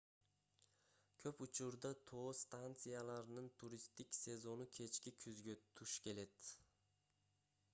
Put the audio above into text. көп учурда тоо станцияларынын туристтик сезону кечки күзгө туш келет